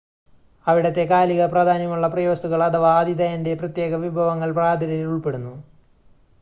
അവിടത്തെ കാലിക പ്രാധാന്യമുള്ള പ്രിയവസ്തുക്കൾ അഥവാ ആതിഥേയൻ്റെ പ്രത്യേക വിഭവങ്ങൾ പ്രാതലിൽ ഉൾപ്പെടുന്നു